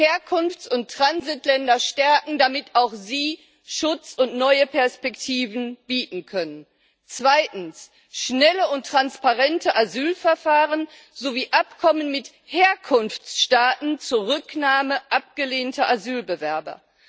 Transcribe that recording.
Herkunfts und Transitländer stärken, damit auch sie Schutz und neue Perspektiven bieten können. Zweitens schnelle und transparente Asylverfahren sowie Abkommen mit Herkunftsstaaten, Zurücknahme abgelehnter Asylbewerber.